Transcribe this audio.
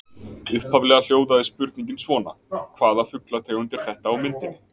Upphaflega hljóðaði spurningin svona: Hvaða fuglategund er þetta á myndinni?